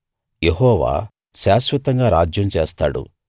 యెహోవా శాశ్వతంగా రాజ్యం చేస్తాడు